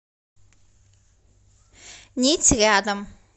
нить рядом